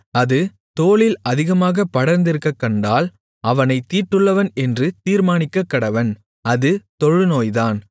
அது தோலில் அதிகமாகப் படர்ந்திருக்கக்கண்டால் அவனைத் தீட்டுள்ளவன் என்று தீர்மானிக்கக்கடவன் அது தொழுநோய்தான்